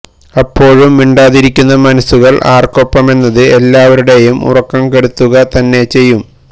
അപ്പോഴും മിണ്ടാതിരിക്കുന്ന മനസുകള് ആര്ക്കൊപ്പമെന്നത് എല്ലാവരുടെയും ഉറക്കം കെടുത്തുക തന്നെ ചെയ്യും